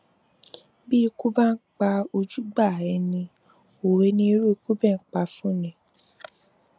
bí ikú bá ń pa ojúgbà ẹni òwe ni irú ikú bẹẹ ń pa fún ni